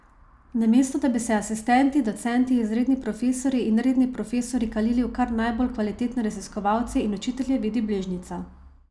Namesto da bi se asistenti, docenti, izredni profesorji in redni profesorji kalili v kar najbolj kvalitetne raziskovalce in učitelje, vidi bližnjico.